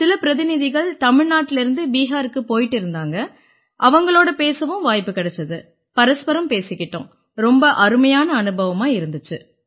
சில பிரதிநிதிகள் தமிழ்நாட்டிலேர்ந்து பிஹாருக்குப் போயிட்டு இருந்தாங்க அவங்களோட பேசவும் வாய்ப்பு கிடைச்சுது பரஸ்பரம் பேசிக்கிட்டோம் ரொம்ப அருமையான அனுபவமா இருந்திச்சு